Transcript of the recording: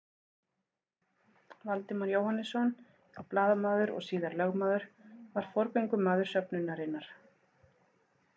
Valdimar Jóhannesson, þá blaðamaður og síðar lögmaður, var forgöngumaður söfnunarinnar.